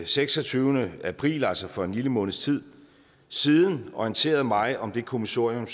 seksogtyvende april altså for en lille måneds tid siden orienteret mig om det kommissorium